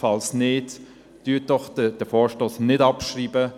Falls nicht, schreiben Sie den Vorstoss nicht ab.